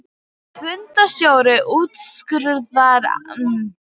Fundarstjóri úrskurðar annars í fyrstu umferð um lögmæti fundarboðunar.